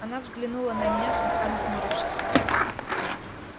она взглянули на меня слегка нахмурившись